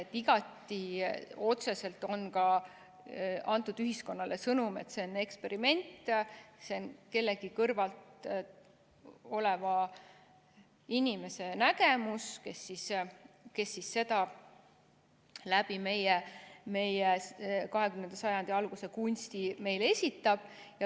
Igati otseselt on ka ühiskonnale antud sõnum, et see on eksperiment, see on kellegi kõrval oleva inimese nägemus, kes seda meie 20. sajandi alguse kunsti kaudu meile esitab.